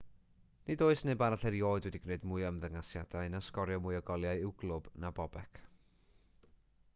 nid oes neb arall erioed wedi gwneud mwy o ymddangosiadau na sgorio mwy o goliau i'w glwb na bobek